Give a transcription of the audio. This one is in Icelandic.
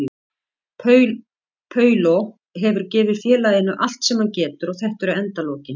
Paulo hefur gefið félaginu allt sem hann getur og þetta eru endalokin.